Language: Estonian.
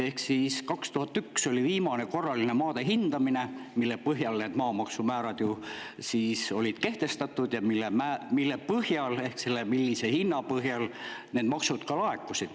Aastal 2001 oli olnud viimane korraline maade hindamine, mille põhjal maamaksumäärad olid kehtestatud ja mille põhjal hind, mille alusel need maksud laekusid.